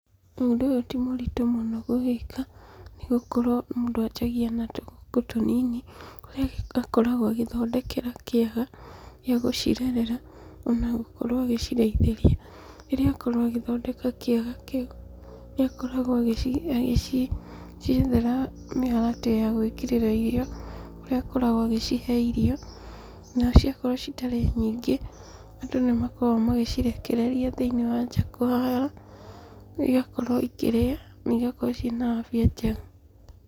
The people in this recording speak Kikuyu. Ũndũ ũyũ timũritũ mũno kũwĩka, nĩgũkorwo mũndũ anjagia na tũgũkũ tũnini, kũrĩa akoragwo agĩthondekera kĩaga gĩagũcirerera, onagũkorwo agĩcirĩithĩria. Rĩrĩa akorwo agĩthondeka kĩaga kĩu, nĩakoragwo agĩciethera mĩharatĩ ya gwĩkĩrĩra irio, kũrĩa akoragwo agĩcihe irio, na ciakorwo citarĩ nyingĩ, andũ nĩmakoragwo magĩcirekereria thĩinĩ wa nja kwao, igakorwo ikĩrĩa, na igakorwo ciĩna afya njega.